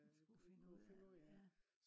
den skulle finde ud af ja